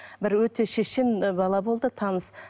бір өте шешен бала болды таныс